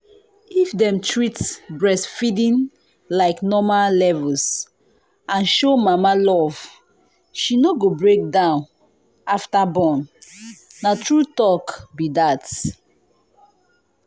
if dem treat breastfeeding like normal levels and show mama love she no go break down after born. na true talk be that.